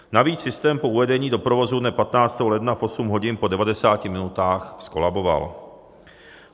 Navíc systém po uvedení do provozu dne 15. ledna v 8 hodin po 90 minutách zkolaboval.